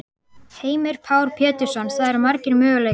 Heimir Már Pétursson: Það eru margir möguleikar?